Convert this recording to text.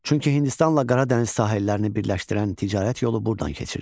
Çünki Hindistanla Qara dəniz sahillərini birləşdirən ticarət yolu buradan keçirdi.